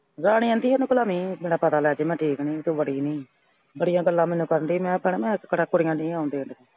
ਰਾਣੀ ਆਂਹਦੀ ਇਹਨੂੰ ਕਿਹੜਾ ਨਈਂ ਪਤਾ, ਮੈਨੂੰ ਲੈ ਕੇ ਮੈਂ ਠੀਕ ਨਈਂ ਤੂੰ ਬੜੀ ਨਈਂ। ਬੜੀਆਂ ਗੱਲਾਂ ਮੈਨੂੰ ਕਰਨ ਡਈ। ਮੈਂ ਕਿਹਾ ਭੈਣੇ ਮੈਂ ਕਿਹੜਾ ਕੁੜੀਆਂ ਨਈਂ ਆਉਣ ਡਈਆਂ ਇਹਦੇ।